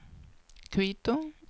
Quito